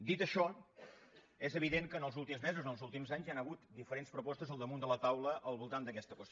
dit això és evident que els últims mesos o els últims anys hi han hagut diferents propostes al damunt de la taula al voltant d’aquesta qüestió